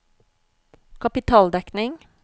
kapitaldekning